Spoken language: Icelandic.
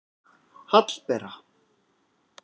Hallbera